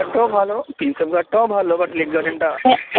ঘাটও ভালো প্রিন্সেপ ঘাটটাও ভালো but লেক গার্ডেন টা